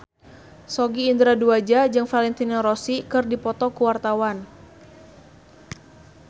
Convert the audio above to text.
Sogi Indra Duaja jeung Valentino Rossi keur dipoto ku wartawan